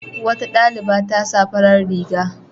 Wata ɗaliba ta sa farar riga.